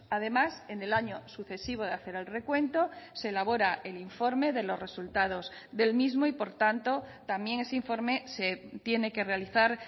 además en el año sucesivo de hacer el recuento se elabora el informe de los resultados del mismo y por tanto también ese informe se tiene que realizar